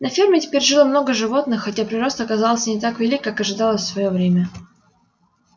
на ферме теперь жило много животных хотя прирост оказался не так велик как ожидалось в своё время